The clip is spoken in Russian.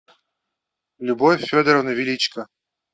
любовь федоровна величко